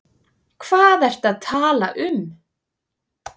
Hvað ertu að tala um?